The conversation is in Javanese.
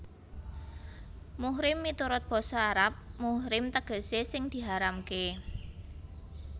Muhrim miturut basa Arab muhrim tegesé sing diharamké